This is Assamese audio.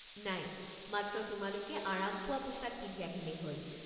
নাই, মাত্ৰ তোমালোকে আৰাম পোৱা পোছাক পিন্ধি আহিলেই হ'ল।